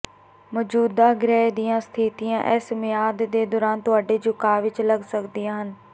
ਮੌਜੂਦਾ ਗ੍ਰਹਿ ਦੀਆਂ ਸਥਿਤੀਆਂ ਇਸ ਮਿਆਦ ਦੇ ਦੌਰਾਨ ਤੁਹਾਡੇ ਝੁਕਾਅ ਵਿੱਚ ਲੱਗ ਸਕਦੀਆਂ ਹਨ